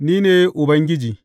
Ni ne Ubangiji.